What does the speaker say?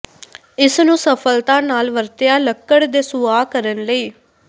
ਇਸ ਨੂੰ ਸਫਲਤਾ ਨਾਲ ਵਰਤਿਆ ਲੱਕੜ ਦੇ ਸੁਆਹ ਕਰਨ ਲਈ